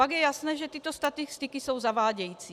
Pak je jasné, že tyto statistiky jsou zavádějící.